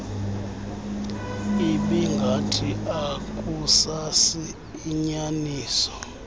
ibingathi akusasi inyaniso